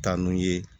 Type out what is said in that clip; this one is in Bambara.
Taa n'u ye